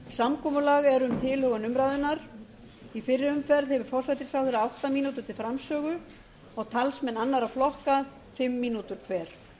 samkomulag er um tilhögun umræðunnar í fyrri umferð hefur forsætisráðherra átta mínútur til framsögu og talsmenn annarra flokka fimm mínútur hver